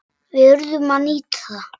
Við urðum að nýta það.